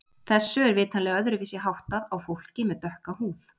Þessu er vitanlega öðruvísi háttað á fólki með dökka húð.